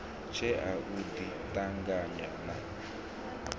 tshea u ḓi ṱanganya na